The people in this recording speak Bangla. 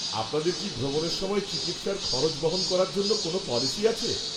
আপনাদের কি ভ্রমণের সময় চিকিৎসার খরচ বহন করার জন্য কোনও পলিসি আছে?